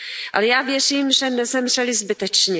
Ale já věřím, že nezemřeli zbytečně.